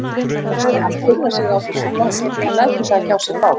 Hann furðar sig á þessu glápi en lætur það ekki á sig fá.